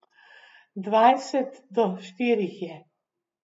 Dvajset do štirih je.